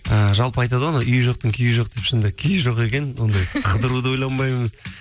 ііі жалпы айтады ғой анау үйі жоқтың күйі жоқ деп шынында да күйі жоқ екен ондай қыдыруды ойланбаймыз